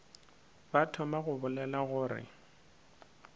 ba thoma go bolela gore